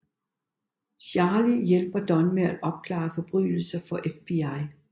Charlie hjælper Don med at opklare forbrydelser for FBI